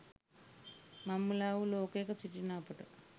මංමුළා වූ ලෝකයක සිටින අපට